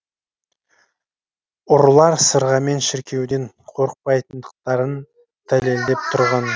ұрылар сырғамен шіркеуден қорықпайтындықтарын дәлелдеп тұрған